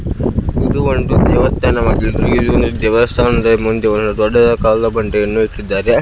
ಇದು ಒಂದು ದೇವಸ್ಥಾನವಾಗಿದ್ದು ಇಲ್ಲಿ ದೇವಸ್ಥಾನದ ಮುಂದೆ ಒಂದು ದೊಡ್ಡದಾದಾ ಕಲ್ಲು ಬಂಡೆಯನ್ನು ಇಟ್ಟಿದ್ದಾರೆ.